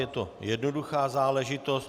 Je to jednoduchá záležitost.